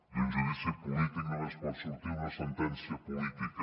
d’un judici polític només pot sortir una sentència política